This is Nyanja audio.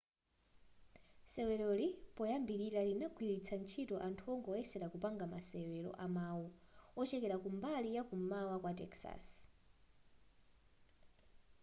seweroli poyambilira linagwiritsa anthu ongoyeselera kupanga masewero amau ochokela mbali yakum'mawa kwa texas